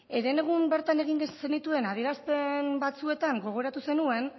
herenegun bertan egin zenituen adierazpen batzuetan gogoratu zenuen